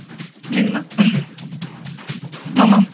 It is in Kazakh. мені ма мхм мамам